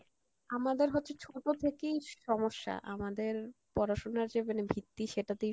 আমাদের হচ্ছে ছোটো থেকেই সমস্যা, আমাদের পড়াশোনার যে মানে ভিত্তি সেটাতেই